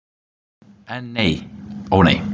En nei, ó nei.